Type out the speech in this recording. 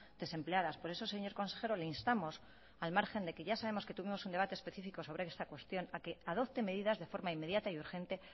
desempleadas por eso señor consejero le instamos al margen de que ya sabemos que tuvimos un debate específico sobre esta cuestión para que adopte medidas de forma inmediata y urgente